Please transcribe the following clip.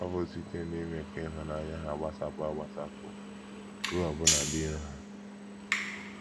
Ọ bụ site n’ime ka ịhụnanya ha gbasapụ agbasapụ ruo ọbụna ndị iro ha.